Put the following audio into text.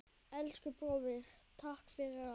Elsku bróðir, takk fyrir allt.